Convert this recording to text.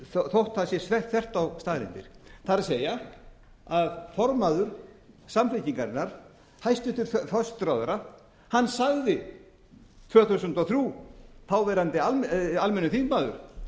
þótt að sé þvert á staðreyndir það er að segja formaður samfylkingarinnar hæstvirtur forsætisráðherra sagði árið tvö þúsund og þrjú þáverandi almennur þingmaður